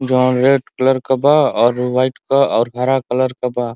जौन red colour के बा और वाइट क और ग्हरा कलर क बा।